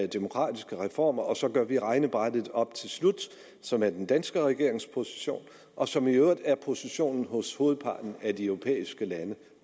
demokratiske reformer og så gør vi regnebrættet op til slut som er den danske regerings position og som i øvrigt er positionen hos hovedparten af de europæiske lande